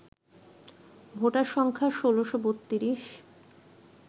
voter সংখ্যা ১৬৩২